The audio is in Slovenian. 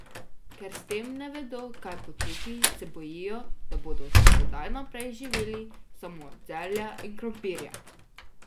Ker s tem ne vedo kaj početi, se bojijo, da bodo od sedaj naprej živeli samo od zelja in krompirja.